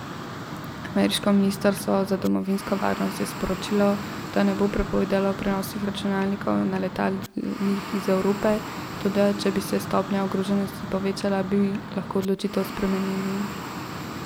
Ameriško ministrstvo za domovinsko varnost je sporočilo, da ne bo prepovedalo prenosnih računalnikov na letalih iz Evrope, toda, če bi se stopnja ogroženosti povečala, bi lahko odločitev spremenili.